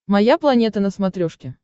моя планета на смотрешке